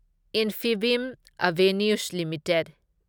Infibeam Avenues limited